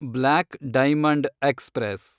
block diamond express